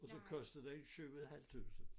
Og så kostede den 7 et halvt tusind